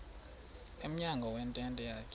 emnyango wentente yakhe